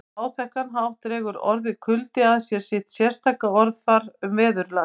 Á áþekkan hátt dregur orðið kuldi að sér sitt sérstaka orðafar um veðurlag